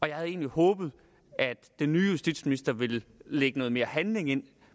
jeg havde egentlig håbet at den nye justitsminister ville lægge noget mere handling